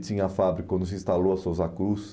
Tinha a fábrica, quando se instalou a Sousa Cruz,